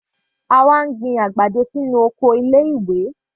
Àwa ń gbin àgbàdo sínú oko ilé ìwé.